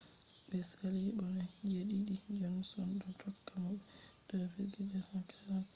be saali mo be je-didi johnson do tokka mo be 2,243